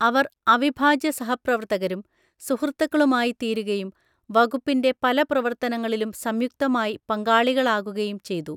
അവർ അവിഭാജ്യ സഹപ്രവർത്തകരും സുഹൃത്തുക്കളുമായിത്തീരുകയും വകുപ്പിന്റെ പല പ്രവർത്തനങ്ങളിലും സംയുക്തമായി പങ്കാളികളാകുകയും ചെയ്തു.